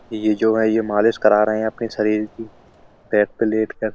ये जो है ये मालिश करा रहे हैं अपने शरीर की बेड पे लेट कर।